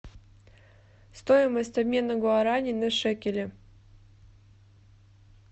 стоимость обмена гуарани на шекели